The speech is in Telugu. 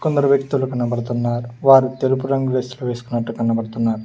కొందరు వ్యక్తులు కనబడుతున్నారు వారు తెలుపు రంగు డ్రెస్సులు వేసుకున్నట్టు కనబడుతున్నారు.